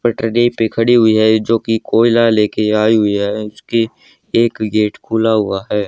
पटरी पर खड़ी हुई है जो कि कोयला लेके आई हुई है। उसके एक गेट खुला हुआ है।